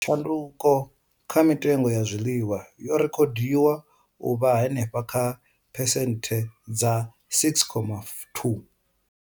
Tshanduko kha mitengo ya zwiḽiwa yo rekhodiwa u vha henefha kha phesenthe dza 6.2.